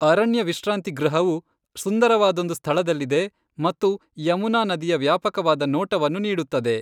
ಅರಣ್ಯ ವಿಶ್ರಾಂತಿ ಗೃಹವು ಸುಂದರವಾದೊಂದು ಸ್ಥಳದಲ್ಲಿದೆ ಮತ್ತು ಯಮುನಾ ನದಿಯ ವ್ಯಾಪಕವಾದ ನೋಟವನ್ನು ನೀಡುತ್ತದೆ.